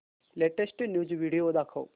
latest news video दाखव